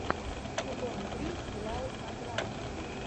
сезон три сериал на грани